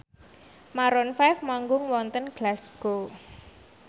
Maroon 5 manggung wonten Glasgow